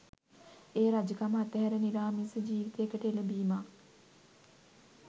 එය රජකම අත්හැර නිරාමිස ජීවිතයකට එළඹීමක්